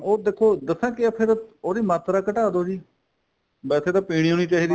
ਉਹ ਦੇਖੋ ਦੱਸਾਂ ਕੀ ਏ ਫੇਰ ਉਹਦੀ ਮਾਤਰਾ ਘਟਾ ਦੋ ਜੀ ਵੈਸੇ ਤਾਂ ਪੀਣੀ ਓ ਨਹੀਂ ਚਾਹੀਦੀ